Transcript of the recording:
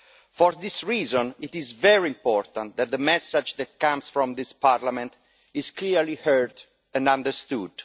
For this reason, it is very important that the message that comes from this Parliament is clearly heard and understood.